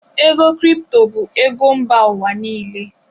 Cryptocurrency is a global currency.